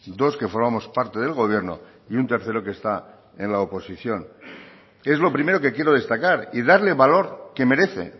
dos que formamos parte del gobierno y un tercero que está en la oposición y es lo primero que quiero destacar y darle el valor que merece